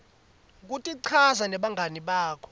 kutichaza nebangani bakho